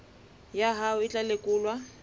ya hao e tla lekolwa